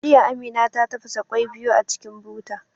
Jiya, Amina ta tafasa kwai biyu a cikin buta.